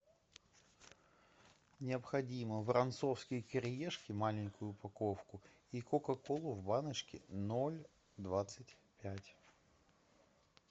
необходимо воронцовские кириешки маленькую упаковку и кока колу в баночке ноль двадцать пять